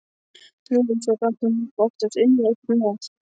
Nú, og svo gat hún líka oftast unnið eitthvað með.